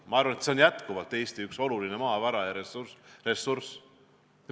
Ma arvan, et see on jätkuvalt Eesti üks olulisi maavarasid ja ressursse.